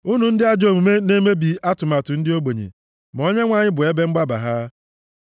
Unu ndị ajọ omume na-emebi atụmatụ ndị ogbenye, ma Onyenwe anyị bụ ebe mgbaba ha.